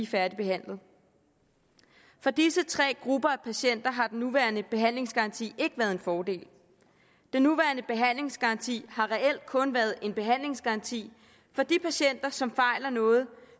færdigbehandlet for disse tre grupper af patienter har den nuværende behandlingsgaranti ikke været en fordel den nuværende behandlingsgaranti har reelt kun været en behandlingsgaranti for de patienter som fejler noget